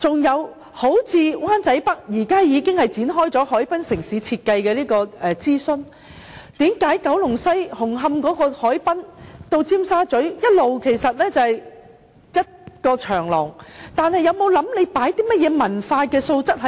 又例如灣仔北，現時已經展開海濱城市設計的諮詢，為何九龍西紅磡海濱至尖沙咀，一直只是一條長廊，政府有否考慮可加入甚麼文化元素呢？